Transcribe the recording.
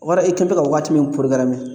O kɔrɔ e kɛ bɛ ka wagati min porogarame